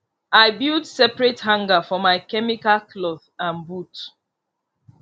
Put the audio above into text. i build separate hanger for my chemical cloth and boot